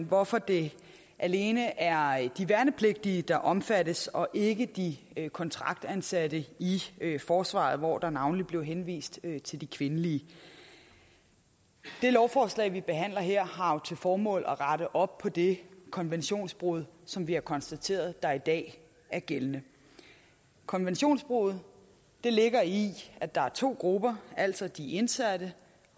hvorfor det alene er de værnepligtige der omfattes og ikke de kontraktansatte i forsvaret hvor der navnlig blev henvist til de kvindelige det lovforslag vi behandler her har jo til formål at rette op på det konventionsbrud som vi har konstateret der er i dag konventionsbruddet ligger i at der er to grupper altså de indsatte